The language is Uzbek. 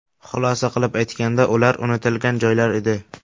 Xulosa qilib aytganda, ular unutilgan joylar edi.